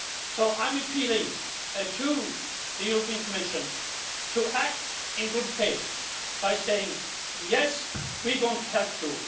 So I am appealing to the European Commission to act in good faith by saying yes, we're going to help you'.